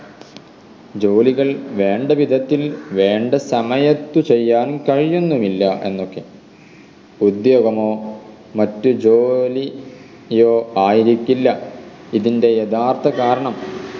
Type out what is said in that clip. ജോലികൾ വേണ്ടവിധത്തിൽ വേണ്ട സമയത്ത് ചെയ്യാൻ കഴിയുന്നുമില്ല എന്നൊക്കെ ഉദ്യോഗമോ മറ്റു ജോ ലി യോ ആയിരിക്കില്ല ഇതിൻറെ യഥാർത്ഥ കാരണം